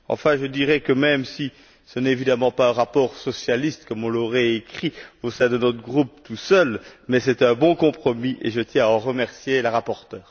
Enfin, je dirais que, même si ce n'est évidemment pas un rapport socialiste, comme on l'aurait écrit au sein de notre groupe à lui tout seul, c'est un bon compromis et je tiens à en remercier la rapporteure.